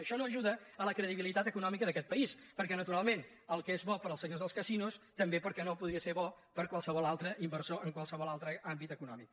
això no ajuda a la credibilitat econòmica d’a·quest país perquè naturalment el que és bo per als senyors dels casinos també per què no podria ser bo per a qualsevol altre inversor en qualsevol altre àmbit econòmic